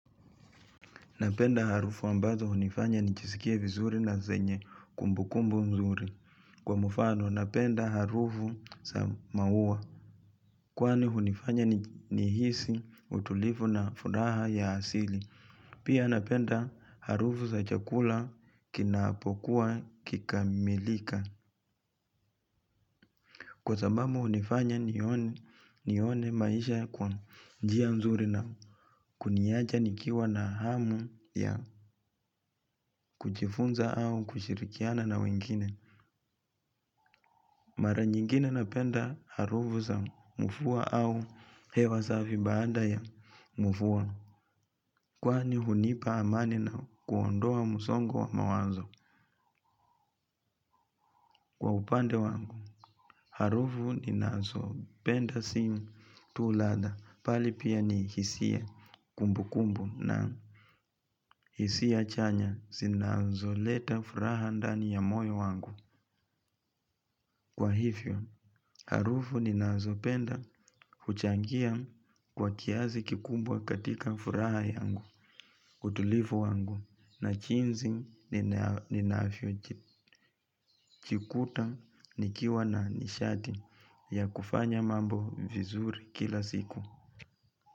Napenda harufu ambazo hunifanya nijsikie vizuri na zenye kumbukumbu mzuri. Kwa mfano, napenda harufu za maua. Kwani hunifanya nihisi utulivu na furaha ya asili. Pia napenda harufu za chakula kinapokuwa kikamilika. Kwa sababu hunifanya nione maisha kwa njia mzuri na kuniachs nikiwa na hamu ya kujifunza au kushirikiana. Na wengine, mara nyingine napenda harufu za mvua au hewa safi baada ya mvua. Kwani hunipa amani na kuondoa msongo wa mawazo kwa upande wangu. Harufu ninazopenda si tu ladha bali pia ni hisia kumbu kumbu na hisia chanya zinazoleta furaha ndani ya moyo wangu. Kwa hivyo, harufu ninazopenda kuchangia kwa kiasi kikubwa katika furaha yangu, utulivu wangu, na jinsi ninavyo jikuta nikiwa na nishati ya kufanya mambo vizuri kila siku.